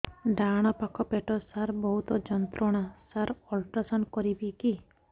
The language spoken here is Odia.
ଡାହାଣ ପାଖ ପେଟ ସାର ବହୁତ ଯନ୍ତ୍ରଣା ସାର ଅଲଟ୍ରାସାଉଣ୍ଡ କରିବି କି